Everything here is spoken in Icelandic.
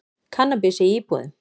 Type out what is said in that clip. Kannabis í íbúðum